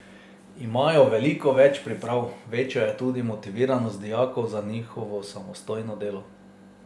Imajo veliko več priprav, večja je tudi motiviranost dijakov za njihovo samostojno delo.